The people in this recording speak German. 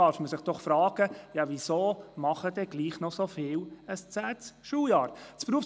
Also ist doch die Frage erlaubt, weswegen denn so viele noch ein zehntes Schuljahr absolvieren.